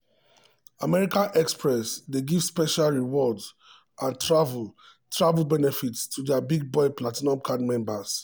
american express dey give special rewards and travel travel benefits to dia big-boy platinum card members.